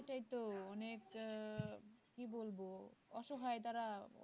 সেটাইতো অনেক আহ কি বলবো অসহায় তারা